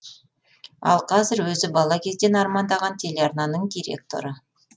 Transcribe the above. ал қазір өзі бала кезден армандаған телеарнаның директоры